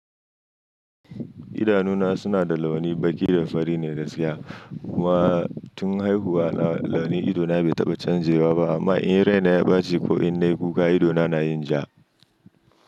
Idanuna suna da launi baƙi da fari ne da sia. Kuma tun haihuwa na launi idona bai taɓa canjewa ba amma in raina ya ɓace ko in na yi kuka idona na yin ja.